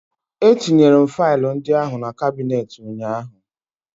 Etinyere m faịlụ ndị ahụ na kabinet ụnyaahụ